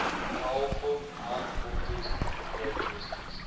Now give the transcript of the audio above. powerful hindquarters characteristic